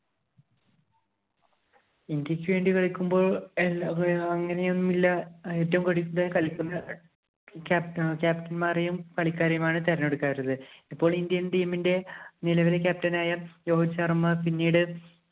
ഇന്ത്യക്ക് വേണ്ടി കളിക്കുമ്പോള്‍ അങ്ങനെയൊന്നുമില്ല. ഏറ്റവും കളി~കളിക്കുന്ന captain മാരെയും, കളിക്കാരെയും ആണ് തെരഞ്ഞെടുക്കുന്നത്. ഇപ്പോള്‍ Indian team ഇന്‍റെ നിലവിലെ captain ആയ രോഹിത് ശര്‍മ്മ പിന്നീട്